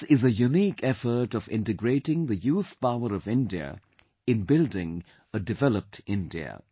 This is a unique effort of integrating the youth power of India in building a developed India